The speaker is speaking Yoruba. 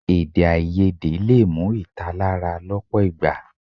Èdèáiyedé lè mú ìtàlára lọ́pọ̀ ìgbà.